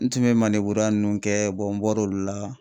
N tun bɛ maneburuya ninnu kɛ n bɔr'olu la.